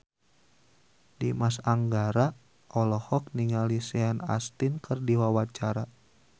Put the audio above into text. Dimas Anggara olohok ningali Sean Astin keur diwawancara